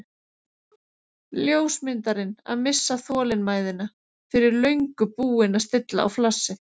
Ljósmyndarinn að missa þolinmæðina, fyrir löngu búinn að stilla á flassið.